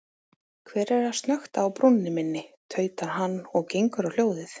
Hver er að snökta á brúnni minni, tautar hann og gengur á hljóðið.